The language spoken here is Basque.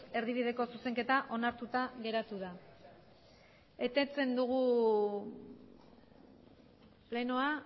erdibideko zuzenketa onartuta geratu da eteten dugu plenoa